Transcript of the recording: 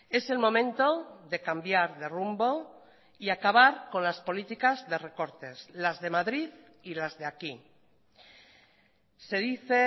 es el momento de cambiar de rumbo y acabar con las políticas de recortes las de madrid y las de aquí se dice